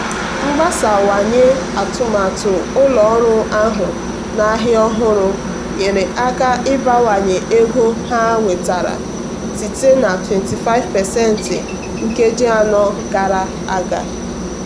mgbasawanye atụmatụ ụlọ ọrụ ahụ na ahịa ọhụrụ nyere aka ịbawanye ego ha nwetara site na 25% nkeji anọ gara aga.